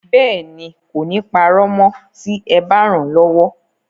Bẹ́ẹ̀ ni, kò ní parọ́ mọ́ tí ẹ bá ràn án lọ́wọ́.